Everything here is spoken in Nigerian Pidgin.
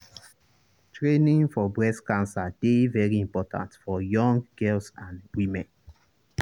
training for breast cancer dey very important for young girls and women.